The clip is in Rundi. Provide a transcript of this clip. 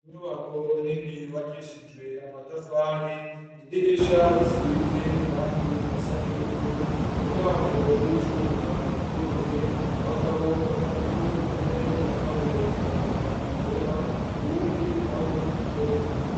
Inyubako nini, yubakishijwe amatafari, idirisha, risize irangi risa n'ivu, umuryango w'icuma, wuguruye, abagabo batatu, umwe yambaye itaburiya yera, uwundi nawe, ikoti.